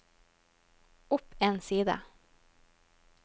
opp en side